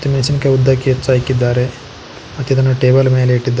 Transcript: ಮೆಣಸಿನಕಾಯಿ ಉದ್ದಕ್ಕೆ ಹೆಚ್ಚಹಾಕಿದ್ದಾರೆ ಮತ್ ಇದನ್ನ ಟೇಬಲ್ ಮೇಲೆ ಇಟ್ಟಿದ್ದಾ--